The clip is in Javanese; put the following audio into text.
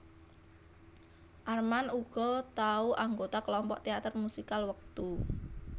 Armand uga tau anggota kelompok teater musikal wektu